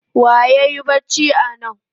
Wa yayi bacci anan?